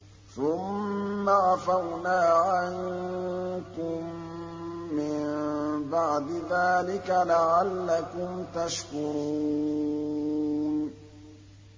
ثُمَّ عَفَوْنَا عَنكُم مِّن بَعْدِ ذَٰلِكَ لَعَلَّكُمْ تَشْكُرُونَ